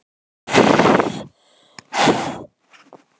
Hver er lykillinn fyrir Ísland til að vinna Ungverja?